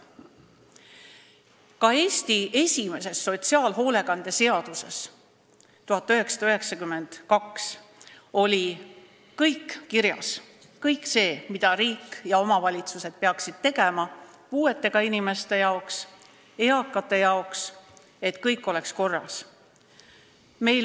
Ka Eesti esimeses sotsiaalhoolekande seaduses oli 1992. aastal kirjas kõik see, mida riik ja omavalitsused peaksid tegema puuetega inimeste ja eakate jaoks, et kõik oleks korras.